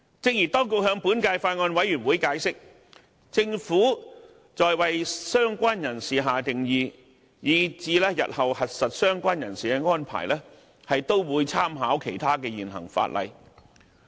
正如當局向本屆法案委員會解釋，政府在為"相關人士"下定義以至日後核實"相關人士"的安排，都會參考其他現行法例。